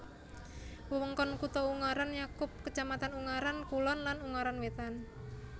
Wewengkon kutha Ungaran nyakup kacamatan Ungaran Kulon lan Ungaran Wétan